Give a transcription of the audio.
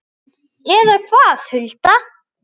Eða hvað, Hulda?